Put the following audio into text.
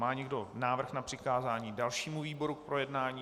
Má někdo návrh na přikázání dalšímu výboru k projednání?